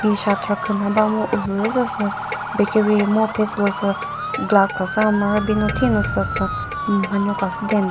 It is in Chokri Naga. hi shutter küna ba mu ulülü züsa sü bakery mu phe sülüsü glass khasü thino sülüsü hmm manyo khasü demta.